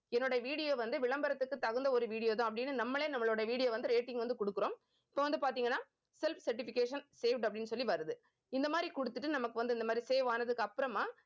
என்னோட video வந்து விளம்பரத்துக்கு தகுந்த ஒரு video தான் அப்படின்னு நம்மளே நம்மளோட video வந்து rating வந்து கொடுக்கிறோம் so வந்து பார்த்தீங்கன்னா self certification saved அப்படின்னு சொல்லி வருது. இந்த மாதிரி கொடுத்துட்டு நமக்கு வந்து இந்த மாதிரி save ஆனதுக்கு அப்புறமா